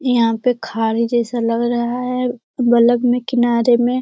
यहाँ पे खाली जैसा लग रहा है बगल में किनारे में।